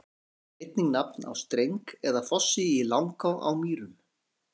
Glanni er einnig nafn á streng eða fossi í Langá á Mýrum.